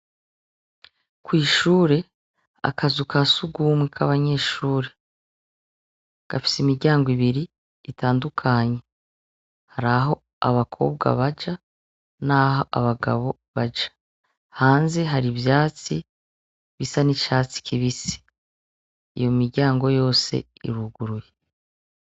Kw'ishure akazu ka sugumwe k'abanyeshuri gafisa imiryango ibiri itandukanye hari aho abakobwa baja, naho abagabo baja hanze hari ivyatsi bisa n'icatsi kibise iyo miryangoo yose iruguruye.